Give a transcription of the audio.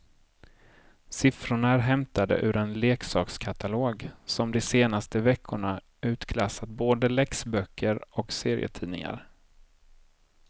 Siffrorna är hämtade ur en leksakskatalog som de senaste veckorna utklassat både läxböcker och serietidningar.